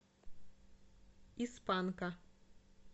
из панка